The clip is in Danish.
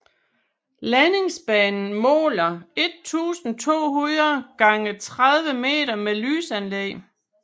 Landingsbanen måler 1200 x 30 m med lysanlæg